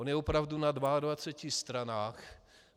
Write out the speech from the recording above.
On je opravdu na 22 stranách.